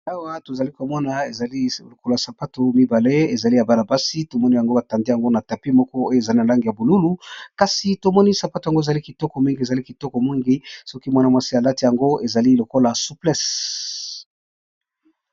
Awa tozali komona ezali lokola sapato mibale, ezali ya bana basi tomoni yango batandi yango na tapi moko oyo ezali na lange ya bululu, kasi tomoni sapato yango ezali kitoko mingi ! ezali kitoko mingi soki mwana-mwasi à lati yango ezali lokola suplesse .